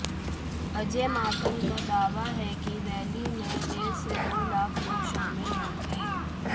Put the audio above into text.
अजय माकन का दावा है कि रैली में डेढ़ से दो लाख लोग शामिल होंगे